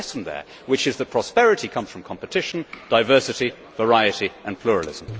There is a lesson there which is that prosperity comes from competition, diversity, variety and pluralism.